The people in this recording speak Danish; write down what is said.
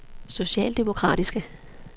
socialdemokratiske